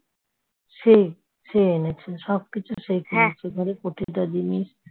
সেই, সে এনেছে সবকিছু সে প্রতিটা জিনিস